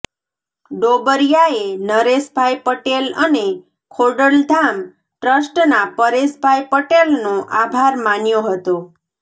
ડોબરિયાએ નરેશભાઇ પટેલ અને ખોડલધામ ટ્રસ્ટના પરેશભાઇ પટેલનો આભાર માન્યો હતો